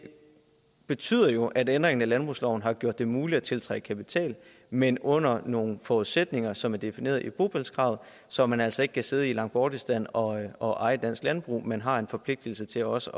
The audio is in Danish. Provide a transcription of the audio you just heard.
betyder jo at ændringen i landbrugsloven har gjort det muligt at tiltrække kapital men under nogle forudsætninger som er defineret i bopælskravet så man altså ikke kan sidde i langbortistan og og eje dansk landbrug men har en forpligtelse til også